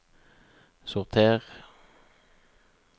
sorter